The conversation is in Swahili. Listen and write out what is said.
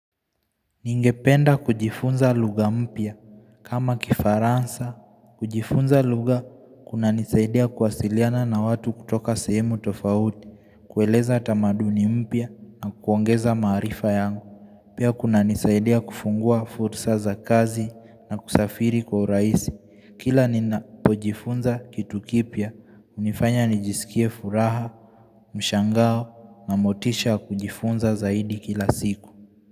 Ningependa kujifunza lugha mpya kama kifaransa. Kujifunza lugha kunanisaidia kuwasiliana na watu kutoka sehemu tofauti, kueleza tamaduni mpya na kuongeza maarifa yangu. Pia kunanisaidia kufungua fursa za kazi na kusafiri kwa urahisi. Kila ninapojifunza kitu kipya, hunifanya nijisikie furaha, mshangao na motisha wa kujifunza zaidi kila siku.